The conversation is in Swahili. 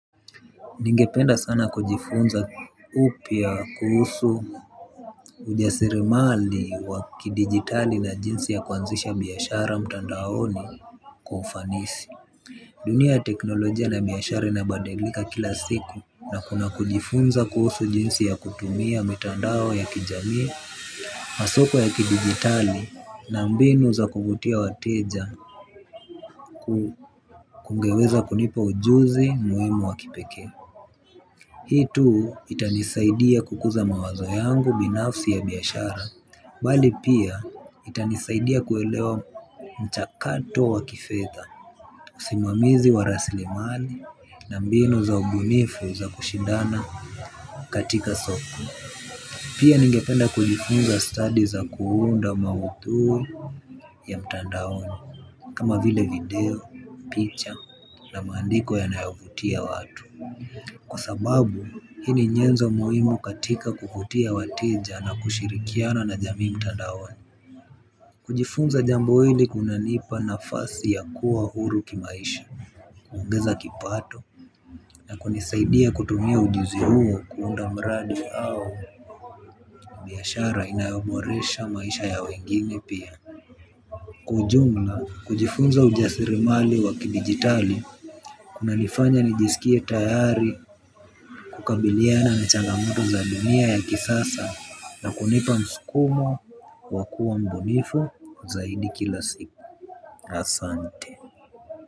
Ningependa sana kujifunza upya kuhusu ujasirimali wa kidigitali na jinsi ya kuanzisha biashara mtandaoni kwa ufanisi. Dunia ya teknolojia na biashara inabadilika kila siku na kuna kujifunza kuhusu jinsi ya kutumia mitandao ya kijamii, masoko ya kidigitali na mbinu za kuvutia wateja kungeweza kunipa ujuzi muhimu wa kipekee. Hii tu itanisaidia kukuza mawazo yangu binafsi ya biashara, bali pia itanisaidia kuelewa mchakato wa kifedha, usimamizi wa rasilimali na mbinu za ubunifu za kushindana katika soko. Pia ningependa kujifunza stadi za kuunda maudhui ya mtandaoni kama vile video, picha na maandiko yanayovutia watu. Kwa sababu, hii ni nyenzo muhimu katika kuvutia wateja na kushirikiana na jamii mtandaoni. Kujifunza jambo hili kuna nipa nafasi ya kuwa huru kimaisha kuongeza kipato na kunisaidia kutumia ujuzi huo kuunda mradi au biashara inayoboresha maisha ya wengine pia. Kwa ujumla, kujifunza ujasirimali wa kidigitali, kunanifanya nijisikie tayari kukabiliana na changamoto za dunia ya kisasa. Na kunipa msukumo wa kuwa mbunifu zaidi kila siku. Asante.